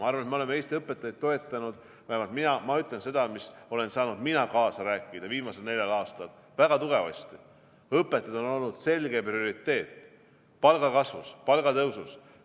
Ma arvan, et me oleme Eesti õpetajaid toetanud, vähemalt mina olen saanud kaasa rääkida viimasel neljal aastal väga tugevasti selles, et õpetajad on olnud selge prioriteet palgakasvus, palgatõusus.